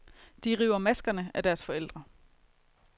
De river maskerne af deres forældre.